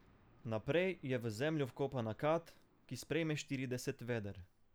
Naprej je v zemljo vkopana kad, ki sprejme štirideset veder.